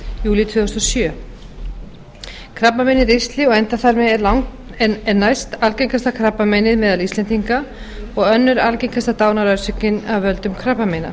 júlí tvö þúsund og sjö krabbamein í ristli og endaþarmi er næstalgengasta krabbameinið meðal íslendinga og önnur algengasta dánarorsökin af völdum krabbameina